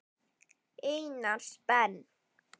Einars Ben.